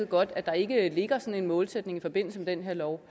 godt at der ikke ligger sådan en målsætning i forbindelse med den her lov